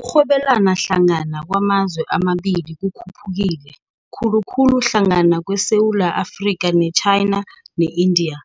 Ukurhwebelana hlangana kwamazwe amabili kukhuphukile, khulukhulu hlangana kweSewula Afrika ne-China ne-India,